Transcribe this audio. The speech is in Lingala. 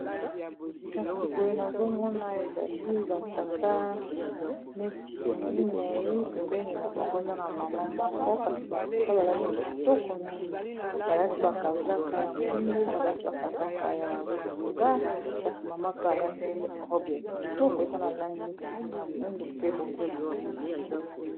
kasi boye nazomona ezali batata neti minei pembeni na bango eza na mama moko kasi batata balati kitoko mingi balati bakazaka ya mwindu balati bakazaka ya bozinga kasi mama pe alati robe ya kitoko eza na langi neti ya mwindu pe bozinga